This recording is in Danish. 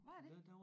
Var der det